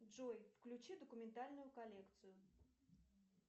джой включи документальную коллекцию